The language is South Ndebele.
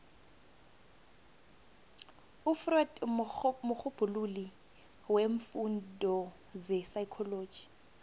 ufreud mrhubhululi weemfundo zepsychology